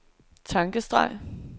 tankestreg